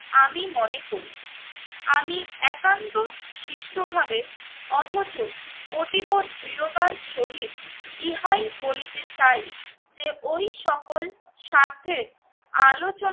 আমি মনে করি। আমি একান্ত সুষ্ঠভাবে অথচ অতিব দৃঢ়তার সহিত ইহাই বলিতে চাই যে ওই সকল স্বার্থের আলোচনা